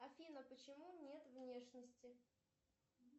афина почему нет внешности